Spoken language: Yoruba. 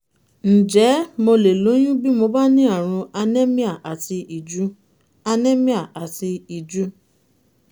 ǹjẹ́ mo lè lóyún bí mo bá ní àrùn anemia àti ìju? anemia àti ìju?